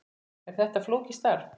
Er þetta flókið starf?